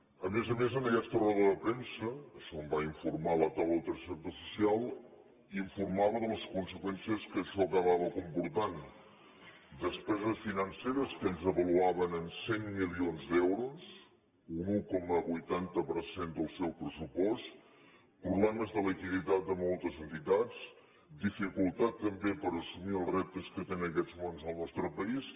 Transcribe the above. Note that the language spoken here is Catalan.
a més a més en aquesta roda de premsa això em va informar la taula del tercer sector social s’informava de les conseqüències que això acabava comportant despeses financeres que ells avaluaven en cent milions d’euros un un coma vuitanta per cent del seu pressupost problemes de liquiditat de moltes entitats dificultat també per assumir els reptes que té en aquests moments el nostre país